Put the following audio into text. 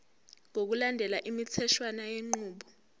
ngokulandela imitheshwana yenqubo